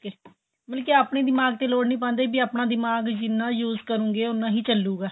ਮਤਲਬ ਕਿ ਆਪਣੇਂ ਦਿਮਾਗ਼ ਤੇ lord ਨਹੀਂ ਪਾਦੇ ਵੀ ਆਪਣਾ ਦਿਮਾਗ਼ ਜਿੰਨਾ use ਕਰੋਗੇ ਉਹਨਾ ਹੀ ਚਲੂਗਾ